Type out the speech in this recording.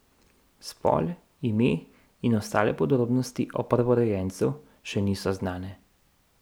Spol, ime in ostale podrobnosti o prvorojencu še niso znane.